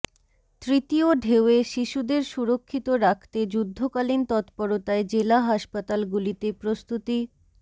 তৃতীয় ঢেউয়ে শিশুদের সুরক্ষিত রাখতে যুদ্ধকালীন তৎপরতায় জেলা হাসপাতালগুলিতে প্রস্তুতি